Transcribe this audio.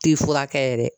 Ti furakɛ yɛrɛ